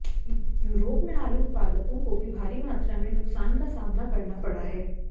Europe में आलू उत्पादकों को भी भारी मात्रा में नुकसान का सामना करना पड़ा है